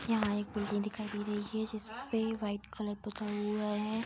यहाँ एक बिल्डिंग दिखाई दे रही है जिस पे वाइट कलर पोता हुआ है।